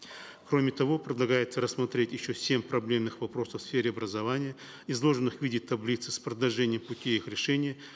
кроме того предлагается рассмотреть еще семь проблемных вопросов в сфере образования изложенных в виде таблицы с предложением пути их решения